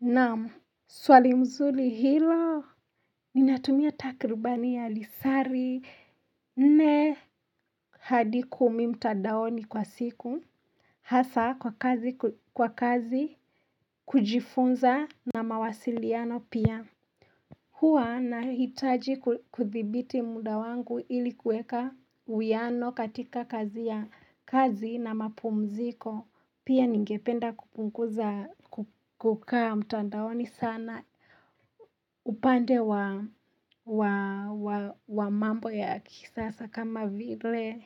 Naam swali mzuri hilo ninatumia takribani ya lisari nne hadi kumi mtandaoni kwa siku hasa kwa kazi kujifunza na mawasiliano pia huwa nahitaji kudhibiti muda wangu ili kuweka uwiano katika kazi ya kazi na mapumziko pia ningependa kupunguza kukaa mtandaoni sana. Na upande wa mambo ya kisasa kama vile